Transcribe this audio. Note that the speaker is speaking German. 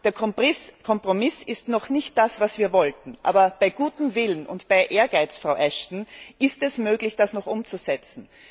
Der Kompromiss ist noch nicht das, was wir wollten, aber bei gutem Willen und Ehrgeiz, Frau Ashton, ist es möglich, das noch umzusetzen.